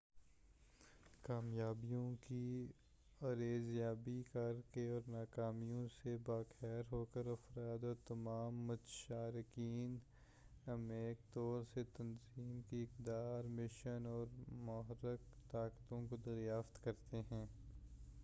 کامیابیوں کی ارزیابی کرکے اور ناکامیوں سے با خبر ہوکر افراد اور تمام متشارکین عمیق طور سے تنظیم کی اقدار مشن اور محرِّک طاقتوں کو دریافت کرتے ہیں